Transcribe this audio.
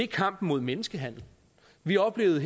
kampen mod menneskehandel vi oplevede